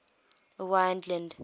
owain glynd